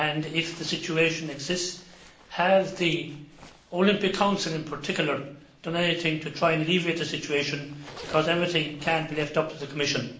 If the situation exists, has the Olympic Council in particular done anything to try and alleviate it, because not everything can be left up to the Commission?